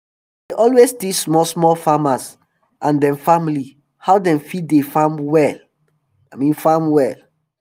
dem dey always teach small small farmers and dem family how dem fit dey farm well farm well